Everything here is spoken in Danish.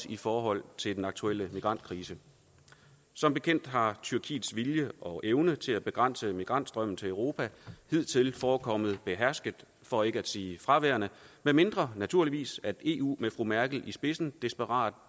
i forhold til den aktuelle migrantkrise som bekendt har tyrkiets vilje og evne til at begrænse migrantstrømmen til europa hidtil forekommet behersket for ikke at sige fraværende medmindre naturligvis eu med fru merkel i spidsen desperat